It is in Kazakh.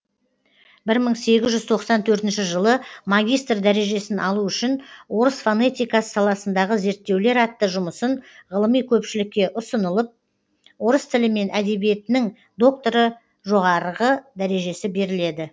бір мың сегіз жүз тоқсан төртінші жылы магистр дәрежесін алу үшін орыс фонетикасы саласындағы зерттеулер атты жұмысын ғылыми көпшілікке ұсынылып орыс тілі мен әдебиетінің докторы жоғарғы дәрежесі беріледі